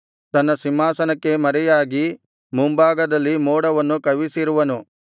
ತನ್ನ ಸಿಂಹಾಸನಕ್ಕೆ ಮರೆಯಾಗಿ ಮುಂಭಾಗದಲ್ಲಿ ಮೋಡವನ್ನು ಕವಿಸಿರುವನು